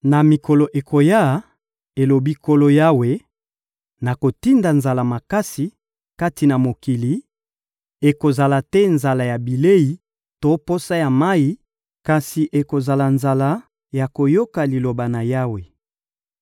Na mikolo ekoya,» elobi Nkolo Yawe, «nakotinda nzala makasi kati na mokili; ekozala te nzala ya bilei to posa ya mayi, kasi ekozala nzala ya koyoka Liloba na Yawe.